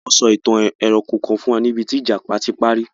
Wọ́n sọ ìtàn ẹranko kan fún wa níbí tí ìjàpá ti párí.